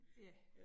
Ja